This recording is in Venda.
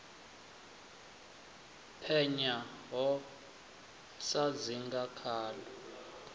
penya ho sa dzinga khaḽo